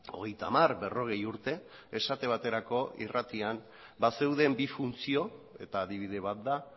hogeita hamar berrogei urte esate baterako irratian bazeuden bi funtzio eta adibide bat da